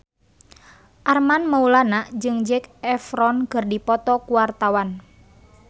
Armand Maulana jeung Zac Efron keur dipoto ku wartawan